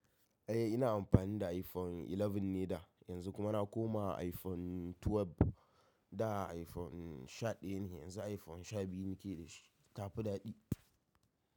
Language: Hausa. Eh ina amfani da iPhone 11 ne da, yanzu kuma na koma iPhone 12. Da iPhone shaɗaya ne, yanzu iPhone sha biyu nake da shi, tafi daɗi.